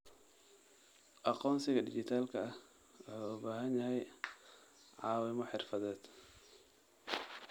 Aqoonsiga dhijitaalka ah wuxuu u baahan yahay caawimo xirfadeed.